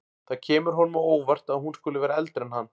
Það kemur honum á óvart að hún skuli vera eldri en hann.